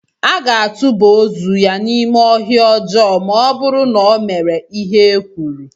A ga-atụba ozu ya n'ime ọhịa ọjọọ ma ọ bụrụ na ọ mere ihe e kwuru.